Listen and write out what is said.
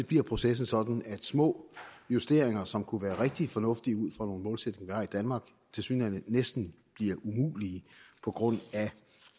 bliver processen sådan at små justeringer som kunne være rigtig fornuftige ud fra nogle målsætninger vi har i danmark tilsyneladende næsten bliver umulige på grund af